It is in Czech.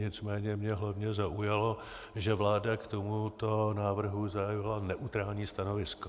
Nicméně mě hlavně zaujalo, že vláda k tomuto návrhu zaujala neutrální stanovisko.